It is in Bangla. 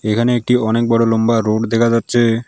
এখানে একটি অনেক বড়ো লম্বা রোড দেখা যাচ্ছে।